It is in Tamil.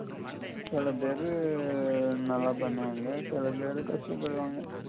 சில பெரு எர் நல்லா பண்ணுவாங்க சில பெரு கஷ்டப்படுவாங்க